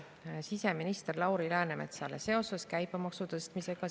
Annan siseminister Lauri Läänemetsale üle arupärimise seonduvalt käibemaksu tõstmisega.